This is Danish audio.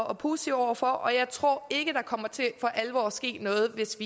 og positive over for og jeg tror ikke der kommer til for alvor at ske noget hvis